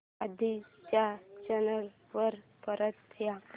आधी च्या चॅनल वर परत जा